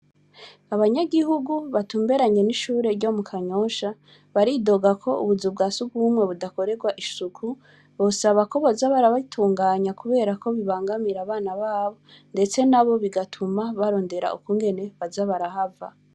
Abanyagihugu batumberanye n'ishure ryo mukanyosha, baridoga ko ubuzu bwasugumewe budakorerwa isuku, bosaba ko boza barabitunganya kubera KO bibangamira abana nabo, ndetse nabo bigatuma barondera ukungene baza barahava.